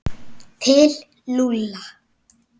Til Lúlla?